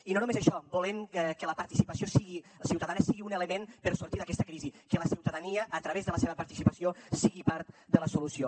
i no només això volem que la participació ciutadana sigui un element per sortir d’aquesta crisi que la ciutadania a través de la seva participació sigui part de la solució